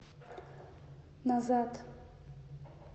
назад